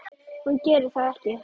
Hún gerir það ekki.